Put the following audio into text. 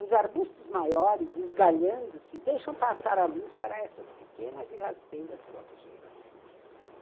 Os arbustos maiores, esgalhando-se, deixam passar a luz para essas pequenas e rasteiras forjeiras.